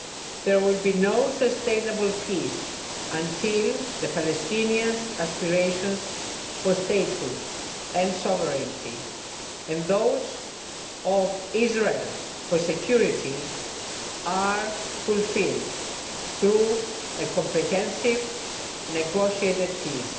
There will be no sustainable peace until the Palestinians' aspirations for statehood and sovereignty and those of Israel for security are fulfilled through a comprehensive negotiated peace